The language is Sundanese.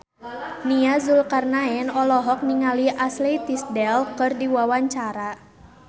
Nia Zulkarnaen olohok ningali Ashley Tisdale keur diwawancara